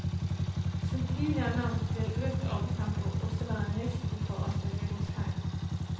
Som tidligere nevnt vil økt arbeidstempo også være en risiko for at det begås feil.